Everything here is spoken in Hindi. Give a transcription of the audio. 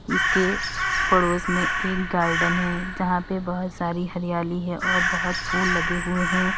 इसके पड़ोस में एक गार्डन है जहां पे बहोत सारी हरियाली है और बहोत फूल लगे हुए हैं।